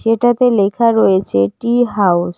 এটাতে লেখা রয়েছে টি হাউস ।